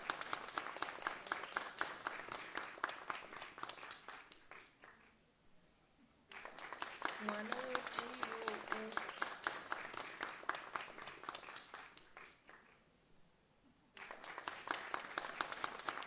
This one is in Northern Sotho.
ngwana o tee yo o